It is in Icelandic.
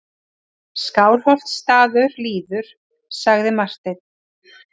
Skálholtsstaður líður, sagði Marteinn.